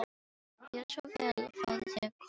Gjörðu svo vel og fáðu þér korn í nefið.